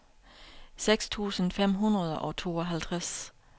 seks tusind fem hundrede og tooghalvtreds